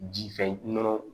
Ji fɛ nɔnɔ